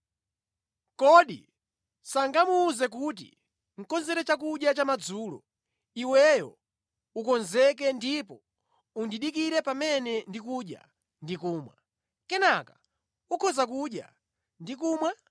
Kodi sangamuwuze kuti, ‘Konzere chakudya cha madzulo, iweyo ukonzeke ndipo undidikirire pamene ndikudya ndi kumwa; kenaka ukhoza kudya ndi kumwa?’